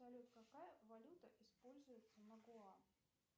салют какая валюта используется на гоа